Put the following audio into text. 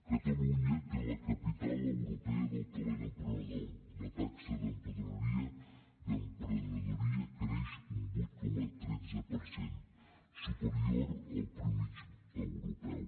catalunya té la capital europea del talent emprenedor la taxa d’emprenedoria creix un vuit coma tretze per cent superior a la mitjana europea